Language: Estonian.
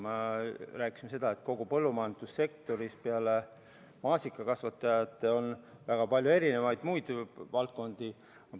Me rääkisime sellest, et kogu põllumajandussektoris on peale maasikakasvatajate väga palju muid valdkondi, mis on raskustes.